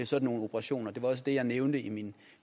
sådan nogle operationer det var også det jeg nævnte i min